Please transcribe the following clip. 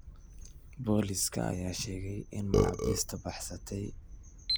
Booliska ayaa sheegay in maxaabiista baxsatay intooda badan ay ahaayeen dambiilayaal daba-dheeraaday.